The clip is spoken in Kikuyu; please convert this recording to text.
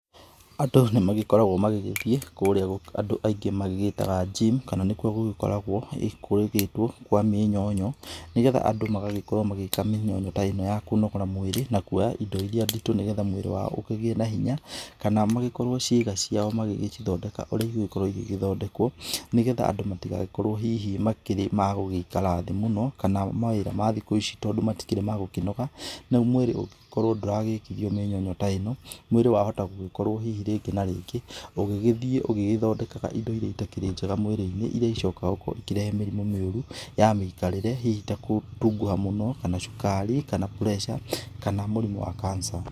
Andũ nĩmagĩkoragwo magĩgĩthiĩ kũrĩa andũ aingĩ magĩgĩtaga gym, kana nĩkuo gũgĩkoragwo kũgĩgĩtwo kwa mĩnyonyo nĩgetha andũ magagĩkorwo magĩka mĩnyonyo ta ĩno ya kũnogora mwĩrĩ na kuoya indo iria nditũ nĩgetha mwĩrĩ wao ũkĩgĩe na hinya. Kana magĩkorwo ciĩga ciao magĩgĩcithondeka ũrĩa igũgĩkorwo igĩthondekwo nĩgetha andũ matigagĩkorwo hihi makĩrĩ magũgĩikara thĩ mũno, kana mawĩra ma thikũ ici tondũ matikĩrĩ ma gũkĩnoga. Rĩu mwĩrĩ ũngĩkorwo ndũragĩkithio mĩnyonyo ta ĩno, mwĩrĩ wahota gũgĩkorwo hihi rĩngĩ na rĩngĩ ũgĩgĩthiĩ ũgĩthondekaga indo iria itakĩrĩ njega mwĩrĩ-inĩ. Iria icokaga gũkorwo ikĩrehe mĩrimũ mĩũru ya mĩikarĩre. Hihi ta gũtunguha mũno, kana cukari, kana pressure, kana mũrimũ wa cancer.